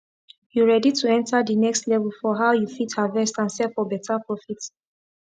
you ready to enter the next level for how you fit harvest and sell for better profit